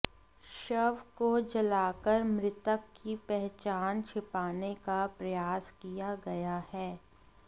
शव को जलाकर मृतक की पहचान छिंपाने का प्रयास किया गया है